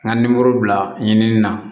N ka nimoro bila ɲinini na